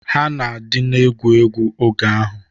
Ha na-adịna egwu egwu oge ahụ.